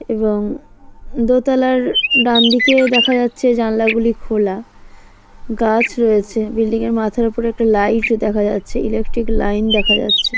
এবং দোতলার ডানদিকে দেখা যাচ্ছে জানালা গুলি খোলা গাছ রয়েছে বিল্ডিং -এর মাথার উপর একটা লাইট দেখা যাচ্ছে ইলেকট্রিক লাইন দেখা যাচ্ছে।